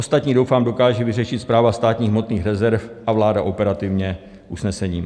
Ostatní, doufám, dokáže vyřešit Správa státních hmotných rezerv a vláda operativně usnesením.